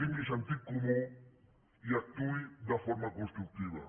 tingui sentit comú i actuï de forma constructiva